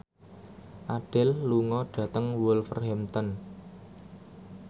Adele lunga dhateng Wolverhampton